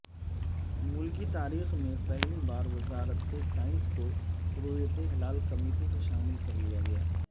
ملکی تاریخ میں پہلی بار وزارت سائنس کو رویت ہلال کمیٹی میں شامل کرلیا گیا